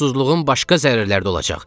Susuzluğun başqa zərərlərdə olacaq.